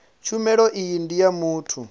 tshumelo iyi ndi ya muthu